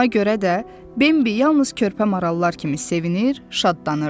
Buna görə də Bimbi yalnız körpə marallar kimi sevinir, şadlanırdı.